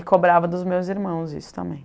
cobrava dos meus irmãos isso também.